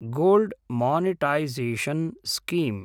gold monetisation scheme